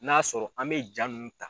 N'a y'a sɔrɔ an bɛ jaa nun